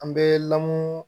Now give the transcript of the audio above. An bɛ lamun